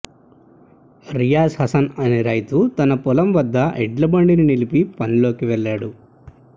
రియాజ్ హసన్ అనే రైతు తన పొలం వద్ద ఎడ్ల బండిని నిలిపి పనిలోకి వెళ్లాడు